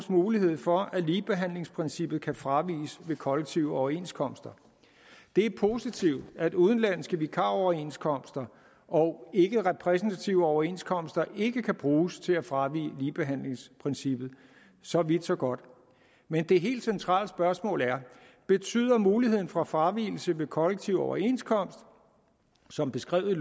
mulighed for at ligebehandlingsprincippet kan fraviges ved kollektive overenskomster det er positivt at udenlandske vikaroverenskomster og ikke repræsentative overenskomster ikke kan bruges til at fravige ligebehandlingsprincippet så vidt så godt men det helt centrale spørgsmål er betyder muligheden for fravigelse ved kollektiv overenskomst som beskrevet i